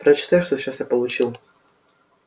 прочитай что сейчас я получил